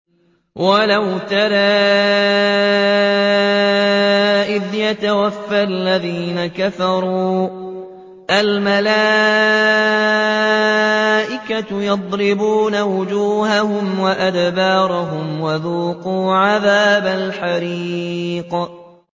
وَلَوْ تَرَىٰ إِذْ يَتَوَفَّى الَّذِينَ كَفَرُوا ۙ الْمَلَائِكَةُ يَضْرِبُونَ وُجُوهَهُمْ وَأَدْبَارَهُمْ وَذُوقُوا عَذَابَ الْحَرِيقِ